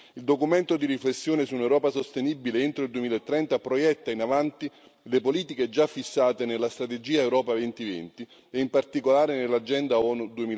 Il documento di riflessione su un'Europa sostenibile entro il 2030 proietta in avanti le politiche già fissate nella strategia Europa 2020, e in particolare nell'agenda ONU